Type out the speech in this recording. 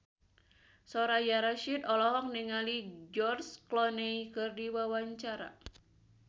Soraya Rasyid olohok ningali George Clooney keur diwawancara